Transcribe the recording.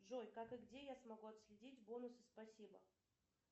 джой как и где я смогу отследить бонусы спасибо